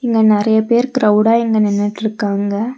இங்க நெறைய பேர் க்ரவ்டா இங்க நின்னுட்ருக்காங்க.